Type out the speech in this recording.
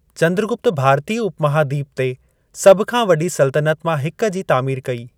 चंद्रगुप्त भारतीय उपमहादीपु ते सभु खां वडी॒ सल्तनत मां हिक जी तामीर कई।